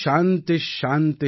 சாந்தி சாந்தி